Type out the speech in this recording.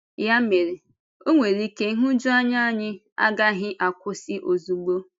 Yà mere, ọ nwere ike nhụjuanya anyị agaghị akwụsị ozugbo.